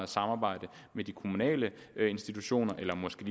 samarbejde med de kommunale institutioner eller måske